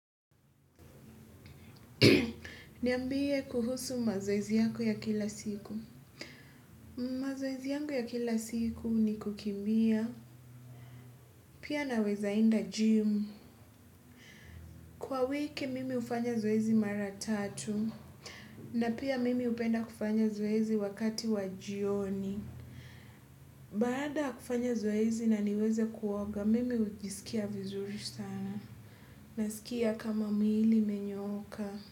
Niambie kuhusu mazoezi yako ya kila siku. Mazoezi yangu ya kila siku ni kukimbia. Pia naweza enda gym. Kwa wiki mimi hufanya zoezi mara tatu. Na pia mimi hupenda kufanya zoezi wakati wa jioni. Baada kufanya zoezi na niweze kuoga, mimi hujisikia vizuri sana. Naskia kama mwili imenyooka.